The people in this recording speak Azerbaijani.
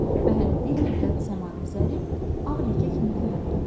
Və hələ bir müddət səmada zərif, ağ ləkə kimi göründü.